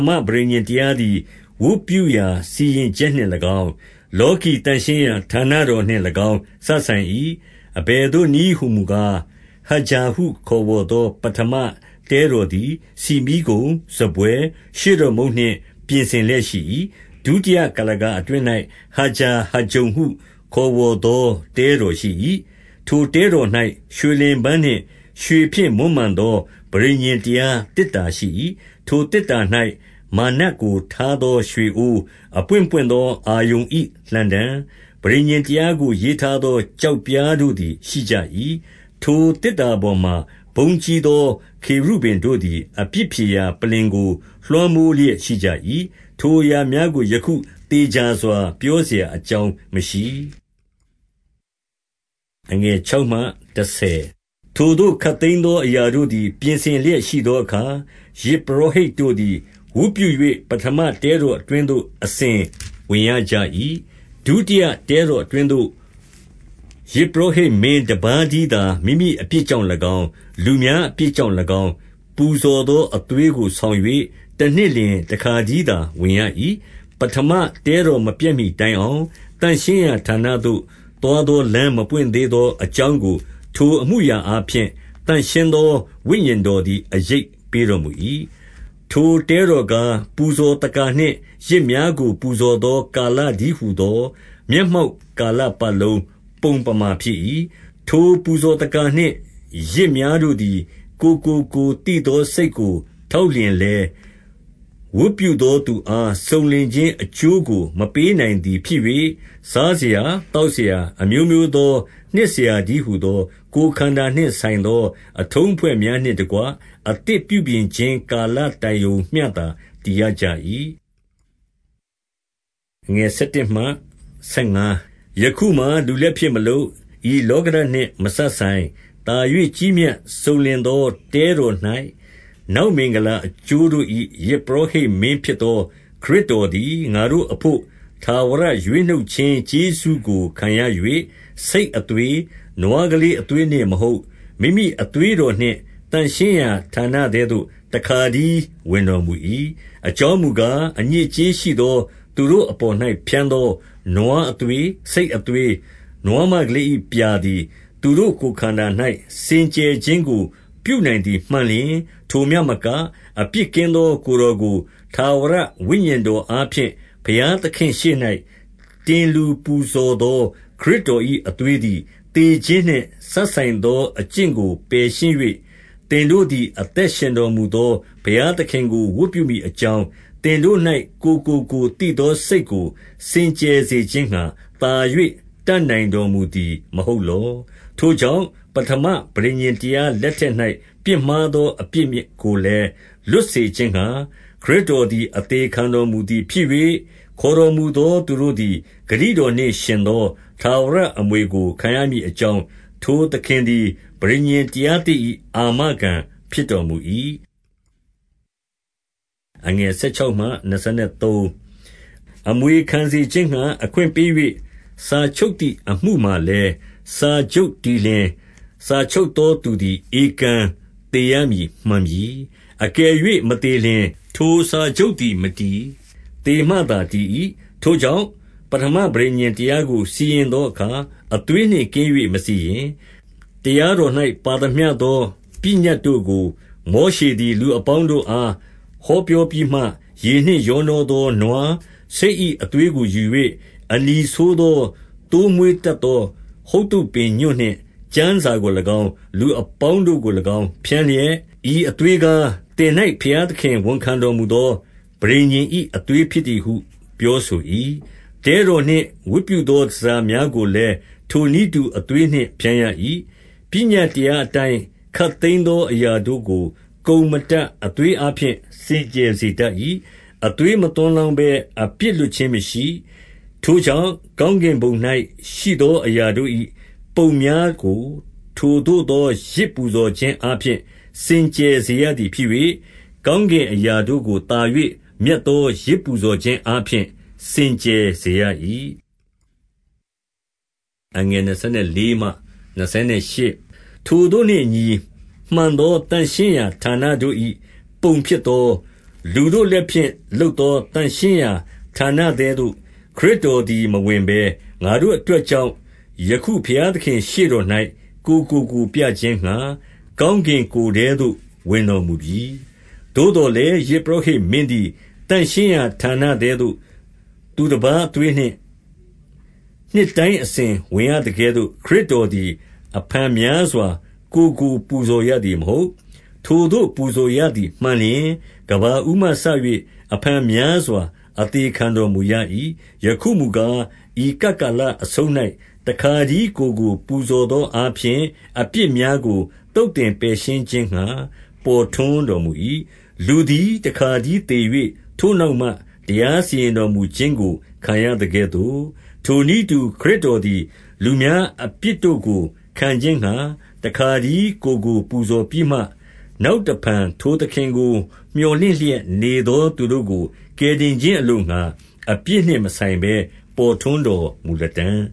မပဋိညာဉ်တရားသည် ဝတ်ပြုရာစီရင်ချက်နှင့်၎င်း၊ လောကီသန့်ရှင်းရာ ဌာနတော်နှင့်၎င်း စပ်ဆိုင်၏။ 2 အဘယ်သို့နည်းဟူမူကား၊ ဟဂျာဟုခေါ်ဝေါ်သော ပဌမတဲတော်သည်၊ ဆီမီးခုံ၊ စားပွဲ၊ ရှေ့တော်မုန့်နှင့် ပြင်ဆင်လျက်ရှိ၏။ 3 ဒုတိယကုလားကာအတွင်း၌၊ ဟဂျာဟဂျုန်ဟု ခေါ်ဝေါ်သော တဲတော်ရှိ၏။ 4 ထိုတဲတော်၌ ရွှေလင်ပန်းနှင့် ရွှေဖြင့်မွမ်းမံသော ပဋိညာဉ်တရားသေတ္တာရှိ၏။ ထိုသေတ္တာ၌ မန္နကို ထားသောရွှေအိုး၊ အပွင့်ပွင့်သော အာရုန်၏ လှံတံ၊ ပဋိညာဉ်တရားကို ရေးထားသော ကျောက်ပြားတို့ သည်ရှိကြ၏။ 5 ထိုသေတ္တာပေါ်မှာ ဘုန်းကြီးသော ခေရုဗိမ်တို့သည် အပြစ်ဖြေရာ ပလ္လင်ကို လွှမ်းမိုးလျက်ရှိကြ၏။ ထိုအရာများကို ယခု သေချာစွာ ပြောစရာအကြောင်း မရှိ။ 6 ထိုသို့ ခပ်သိမ်းသော အရာတို့သည် ပြင်ဆင်လျက် ရှိသောအခါ၊ ယဇ်ပုရောဟိတ်တို့သည် ဝတ်ပြု၍ ပဌမတဲတော်အတွင်းသို့ အစဉ်ဝင်ကြရ၏။ 7 ဒုတိယတဲတော်အတွင်းသို့ ယဇ်ပုရောဟိတ်မင်းတပါးတည်းသာ မိမိအပြစ်ကြောင့်၎င်း၊ လူများအပြစ် ကြောင့်၎င်း၊ ပူဇော်သောအသွေးကိုဆောင်၍ တနှစ်လျှင် တခါတည်းသာဝင်ရ၏။ 8 ပဌမတဲတော်မပျက်မှီတိုင်အောင်၊ သန့်ရှင်းရာ ဌာနသို့ သွားသောလမ်းမဖွင့်သေးသော အကြောင်းကို ထိုအမှုအရာအားဖြင့် သန့်ရှင်းသော ဝိညာဉ်တော်သည် အရိပ်ပေးတော်မူ၏။ 9 ထိုတဲတော်ကား၊ ပူဇော်သက္ကာနှင့် ယဇ်များကို ပူဇော်သော ကာလတည်းဟူသော မျက်မှောက်ကာလ ပတ်လုံးပုံပမာဖြစ်၏။ ထိုပူဇော်သက္ကာနှင့် ယဇ်များတို့သည် ကိုယ်ကိုကိုယ် သိသောစိတ်ကိုထောက်လျှင်လည်း၊ ဝတ်ပြုသောသူအား စုံလင်ခြင်းအကျိုးကို မပေးနိုင်သည်ဖြစ်၍၊ 10 စားစရာ၊ သောက်စရာ၊ အမျိုးမျိုးသော နှစ်စရာတည်းဟူသော၊ ကိုယ်ခန္ဓာနှင့်ဆိုင်သော အထုံးအဖွဲ့များ နှင့်တကွ အသစ်ပြုပြင်ခြင်း ကာလတိုင်ရုံမျှသာ တည်ရကြ၏။ 11 ယခုမှာ လူလက်ဖြင့်မလုပ်၊ ဤလောကဓာတ်နှင့် မစပ်ဆိုင်၊ သာ၍ကြီးမြတ်စုံလင်သောတဲတော်၌၊ နောက်မင်္ဂလာအကျိုးတို့၏ ယဇ်ပုရောဟိတ်မင်းဖြစ်သော ခရစ်တော်သည်၊ 12 ငါတို့အဘို့ထာဝရရွေးနှုတ်ခြင်း ကျေးဇူးကိုခံရ၍ ဆိတ်အသွေး၊ နွားကလေးအသွေးနှင့်မဟုတ်၊ မိမိအသွေးတော်နှင့် သန့်ရှင်းရေးဌာနထဲသို့ တခါတည်း ဝင်တော်မူ၏။ 13 အကြောင်းမူကား၊ အညစ်အကြေးရှိသော သူတို့ အပေါ်၌ ဖြန်းသောနွားအသွေး၊ ဆိတ်အသွေး၊ နွားမ ကလေး၏ပြာသည်၊ သူတို့ ကိုယ်ခန္ဓာ၌ စင်ကြယ်ခြင်းကို ပြုနိုင်သည်မှန်လျှင်၊ 14 ထိုမျှမက၊ အပြစ်ကင်းသော ကိုယ်တော်ကို၊ ထာဝရဝိညာဉ်တော်အားဖြင့်၊ ဘုရားသခင့်ရှေ့၌ တင်လှူ ပူဇော်သော ခရစ်တော်၏ အသွေးသည်၊ သေခြင်းနှင့် စပ်ဆိုင်သောအကျင့်ကို ပယ်ရှင်း၍၊ သင်တို့သည် အသက်ရှင်တော်မူသော ဘုရားသခင်ကို ဝတ်ပြုမည်အကြောင်း၊ သင်တို့၌ ကိုယ်ကိုကိုယ်သိသော စိတ်ကို စင်ကြယ်စေခြင်းငှါ၊ သာ၍တတ်နိုင်တော်မူသည်မဟုတ်လော။ 15 ထိုကြောင့် ပဌမပဋိညာဉ်တရားလက်ထက်၌ ပြစ်မှားသောအပြစ်ကိုလည်း လွတ်စေခြင်းငှါ၊ ခရစ်တော်သည် အသေခံတော်မူသည် ဖြစ်၍၊ ခေါ်တော်မူသော သူတို့သည် ဂတိတော်နှင့်ယှဉ်သော ထာဝရ အမွေကို ခံရမည်အကြောင်း၊ ထိုသခင်သည် ပဋိညာဉ်တရားသစ်၏ အာမခံဖြစ်တော်မူ၏။ 16 အမွေခံစေခြင်းငှါ အခွင့်ပေး၍ စာချုပ်သည် အမှုမှာလည်း စာချုပ်တည်လျှင် စာချုပ်သောသူသည် ဧကန်သေရမည်မှန်ပြီ။ 17 အကယ်၍မသေလျှင်၊ ထိုစာချုပ်သည်မတည်၊ သေမှသာတည်၏။ 18 ထို့ကြောင့်ပဌမပဋိညာဉ်တရားကို စီရင်သောအခါ၊ အသွေးနှင့် ကင်း၍မစီရင်။ 19 တရားတော်၌ ပါသမျှသော ပညတ်တို့ကို မောရှေသည် လူအပေါင်းတို့အား ဟောပြောပြီးမှ၊ ရေနှင့်ရောနှောသောနွား၊ ဆိတ်၏အသွေးကိုယူ၍၊ အနီဆိုးသော သိုးမွေးတပ်သောဟုဿုပ်ပင်ညွန့်နှင့်၊ ကျမ်းစာကို၎င်းလူအပေါင်းတို့ကို၎င်း ဖြန်းလျက်၊ 20 ဤအသွေးကား၊ သင်၌ဘုရားသခင် ဝန်ခံတော်မူသော ပဋိညာဉ်၏ အသွေးဖြစ်သည်ဟု ပြောဆို၏။ 21 တဲတော်နှင့်ဝတ်ပြုသော တန်ဆာများကိုလည်း ထိုနည်းတူ သွေးနှင့်ဖြန်းရ၏။ 22 ပညတ်တရားအတိုင်း ခပ်သိမ်းသောအရာတို့ကို ကုန်မတတ် အသွေးအားဖြင့် စင်ကြယ်စေတတ်၏။ အသွေးမသွန်းလောင်းဘဲ အပြစ်လွတ်ခြင်းမရှိ ။ 23 ထို့ကြောင့်ကောင်းကင်ဘုံ၌ရှိသော အရာတို့၌ ပုံများကိုထိုသို့သောယဇ်ပူဇော်ခြင်းအားဖြင့် စင်ကြယ်စေ ရသည်ဖြစ်၍၊ ကောင်းကင် အရာတို့ကိုသာ၍မြတ်သော ယဇ်ပူဇော်ခြင်းအားဖြင့် စင်ကြယ်စေရ၏။ 24 ထိုသို့နှင့်အညီ၊ မှန်သောသန့်ရေးဌာနတို့၏ ပုံဖြစ်သော၊ လူတို့လက်ဖြင့်လုပ်သော သန့်ရှင်းရာဌာန ထဲသို့ ခရစ်တော်သည်မဝင်ဘဲ၊ ငါတို့ အတွက်ကြောင့် ယခုဘုရားသခင်၏ ရှေ့တော်၌ကိုယ်ကိုပြခြင်းငှါ၊ ကောင်းကင်ကိုယ်ထဲသို့ ဝင်တော်မူပြီ၊ 25 သို့သော်လည်း၊ ယဇ်ပုရောဟိတ်မင်းသည် သန့်ရှင်းရာဌာနထဲသို့ သူတပါးအသွေးနှင့် နှစ်တိုင်း အစဉ်ဝင်ရသကဲ့သို့ ခရစ်တော်သည် အဖန်များစွာ ကိုယ်ကို ပူဇော်ရသည်မဟုတ်။ 26 ထိုသို့ပူဇော်ရသည်မှန်လျှင်၊ ကမ္ဘာဦးမှစ၍ အဖန်များစွာ အသေခံတော်မူရ၏။ ယခုမူကား၊ ဤကပ် ကာလအဆုံး၌ တခါတည်း ကိုယ်ကိုပူဇော်သောအားဖြင့် အပြစ်များကို သုတ်သင်ပယ်ရှင်းခြင်းငှါ ပေါ်ထွန်းတော်မူ၏။ 27 လူသည် တခါတည်းသေ၍ ထိုနောက်မှ တရား စီရင်တော်မူ ခြင်းကိုခံရသကဲ့သို့၊ 28 ထိုနည်းတူ၊ ခရစ်တော်သည် လူများအပြစ်တို့ကို ခံခြင်းငှါ တခါတည်းကိုယ်ကိုပူဇော်ပြီးမှ၊ နောက်တဖန် ထိုသခင်ကို မြော်လင့်လျက် နေသောသူတို့ကို ကယ်တင်ခြင်းအလိုငှါ၊ အပြစ်နှင့်မဆိုင်ဘဲ ပေါ်ထွန်းတော်မူလတံ့